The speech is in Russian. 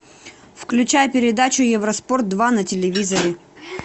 включай передачу евроспорт два на телевизоре